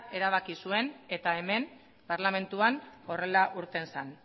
erabaki zuen eta hemen parlamentuan horrela irten zen